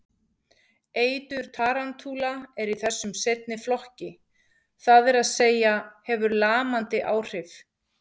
Eitur tarantúla er þessum seinni flokki, það er að segja hefur lamandi áhrif.